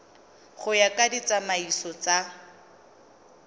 go ya ka ditsamaiso tsa